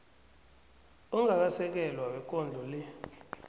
ongakasekelwa wekondlo le